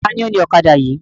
Taàní ó ní ọ̀kadà yìí?